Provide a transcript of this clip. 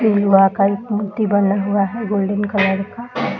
ये का मूर्ति बना हुआ है गोल्डन कलर का।